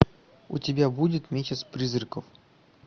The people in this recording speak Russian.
у тебя будет месяц призраков